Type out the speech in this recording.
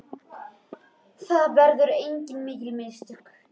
Það höfðu verið mikil mistök.